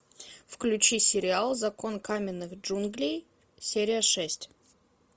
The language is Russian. включи сериал закон каменных джунглей серия шесть